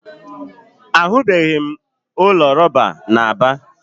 Ahụbeghị m ụlọ rọba na Aba.